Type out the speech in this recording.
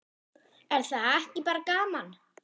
Er það ekki bara gaman?